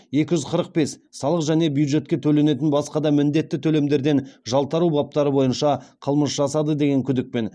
екі жүз қырық бес салық және бюджетке төленетін басқа да міндетті төлемдерден жалтару баптары бойынша қылмыс жасады деген күдікпен